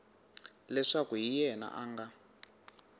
leswaku hi yena a nga